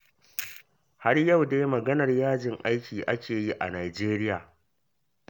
Har yau dai maganar yajin aiki ake yi a Nijeriya.